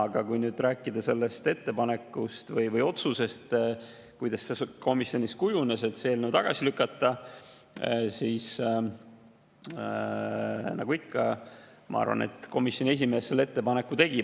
Aga kui nüüd rääkida sellest ettepanekust või otsusest, sellest, kuidas komisjonis kujunes otsus, et see eelnõu tagasi lükata, siis ma arvan, et nagu ikka komisjoni esimees selle ettepaneku tegi.